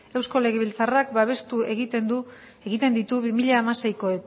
eusko legebiltzarrak babestu egiten ditu bi mila hamaseiko